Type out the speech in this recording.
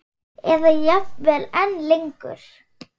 Eða jafnvel enn lengur.